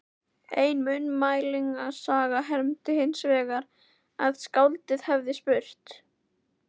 Ein munnmælasaga hermdi hinsvegar að skáldið hefði spurt